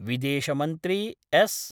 विदशमन्त्री S .